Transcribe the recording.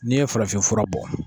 N'i ye farafinfura bɔ